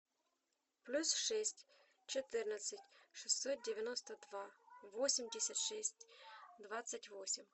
плюс шесть четырнадцать шестьсот девяносто два восемьдесят шесть двадцать восемь